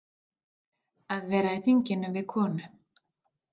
Að vera í þingum við konu